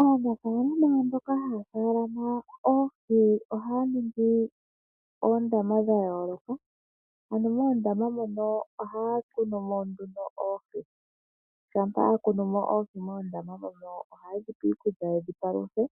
Aanafaalama mboka haya faalama oohi ohaya ningi oondama dha yooloka, ano moondama moka ohaya kunu mo nduno oohi. Shampa ya kunu oohi moondama mono ohaye dhi pe iikulya ye dhi paluthe